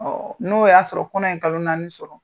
Ɔɔ n'o y'a sɔrɔ kɔnɛ ye kalo naani sɔrɔ.